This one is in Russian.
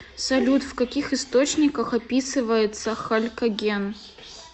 салют в каких источниках описывается халькоген